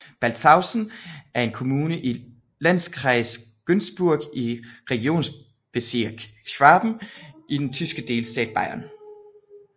Balzhausen er en kommune i Landkreis Günzburg i Regierungsbezirk Schwaben i den tyske delstat Bayern